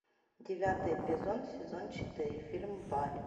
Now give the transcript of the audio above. девятый эпизод сезон четыре фильм барри